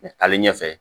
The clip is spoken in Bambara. ale ɲɛfɛ